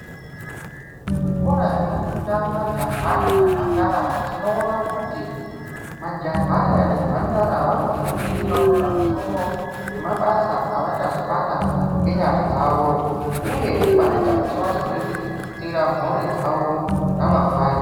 Kuzvikora zvinofunda majaha nemhandara tinoona kuti majaha aya nemhandara Anofofundiswa pamusoro pemabasa asazobata nenyara dzawo uye vanoita kuti varieties mhuri dzawo ramangwani rawo.